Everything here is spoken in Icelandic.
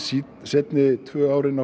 seinni tvö árin